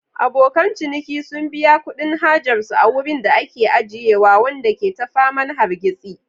Abokan ciniki sun biya kuɗin hajar su a wurin da ake ajiyewa, wanda ke ta faman hargitsi.